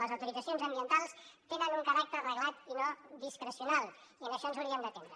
les autoritzacions ambientals tenen un caràcter reglat i no discrecional i a això ens hauríem d’atendre